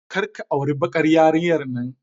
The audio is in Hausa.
Kar ka auri bakar yarinyar nan.